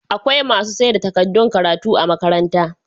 Akwai masu saida tadaddun karatu a magakantar